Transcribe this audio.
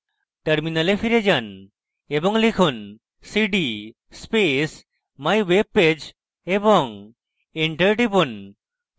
terminal ফিরে যান এবং লিখুন: cd space mywebpage এবং enter টিপুন